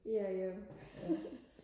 ja jo